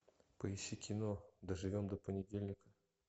поищи кино доживем до понедельника